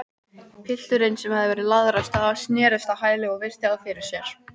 Pilturinn, sem hafði verið lagður af stað, snerist á hæli og virti þá fyrir sér.